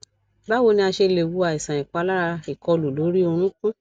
báwo ni a ṣe lè wo àìsàn ipalara ikọlu lori orunkun